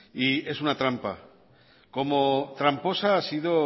es una trampa como tramposa ha sido